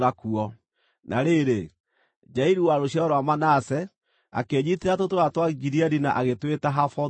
Na rĩrĩ, Jairu wa rũciaro rwa Manase, akĩĩnyiitĩra tũtũũra twa Gileadi na agĩtwĩta Havothu-Jairu.